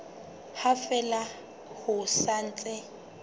ha fela ho sa ntse